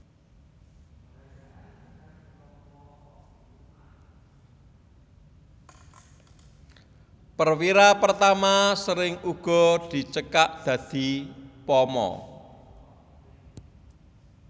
Perwira Pertama sering uga dicekak dadi Pama